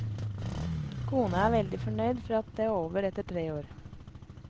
Kona er veldig fornøyd for at det er over etter tre år.